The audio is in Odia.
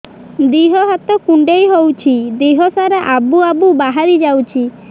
ଦିହ ହାତ କୁଣ୍ଡେଇ ହଉଛି ଦିହ ସାରା ଆବୁ ଆବୁ ବାହାରି ଯାଉଛି